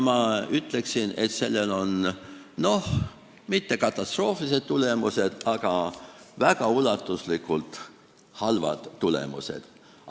Ma ütleksin, et sellel ei ole katastroofilised tulemused, aga on väga ulatuslikult halvad tulemused.